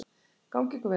Gangi ykkur vel!